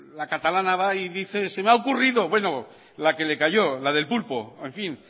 la catalana va y dice se me ha ocurrido bueno la que le cayó la del pulpo en fin